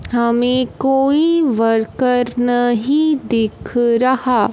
हमें कोई वर्कर नहीं दिख रहा--